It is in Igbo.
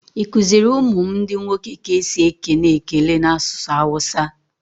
I kuziri ụmụ m ndi nwoke ka esi ekene ekele n'asụsụ awusa?